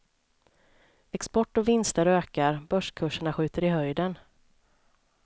Export och vinster ökar, börskurserna skjuter i höjden.